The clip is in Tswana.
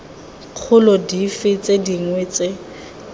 kgolo dife tse dingwe tse